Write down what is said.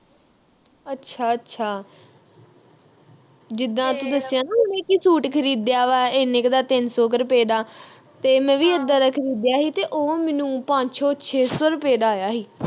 ਅੱਛਾ ਅੱਛਾ ਜਿੱਦਾ ਤੂੰ ਦੱਸਿਆ ਨਾ ਉਹਨੇ ਕਿ ਸੂਟ ਖਰੀਦਿਆ ਵਾ ਇੰਨੇ ਕਿ ਦਾ ਤਿੰਨ ਸੌ ਕਿ ਰੁਪਏ ਦਾ ਤੇ ਮੈਂ ਵੀ ਇੱਦਾਂ ਦਾ ਖਰੀਦਿਆ ਹੀ ਉਹ ਮੈਨੂੰ ਪੰਜ ਸੌ ਛੇ ਸੌ ਦਾ ਆਇਆ ਹੀ